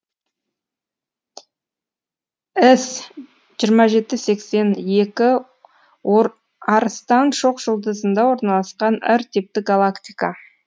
іс жиырма жеті сексен екі арыстан шоқжұлдызында орналасқан р типті галактика